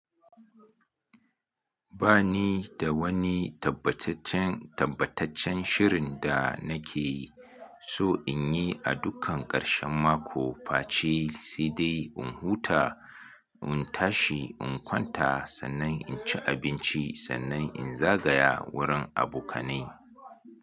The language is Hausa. Ba nida wani tabbacaccen, tabbacaccen shirin danake so inyi a dukkan karshen mako. Face sai dai in huta, in tashi, in kwanta, sannan inci abinci, sannan in zagaya wurin abokanai.